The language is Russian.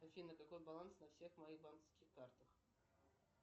афина какой баланс на всех моих банковских картах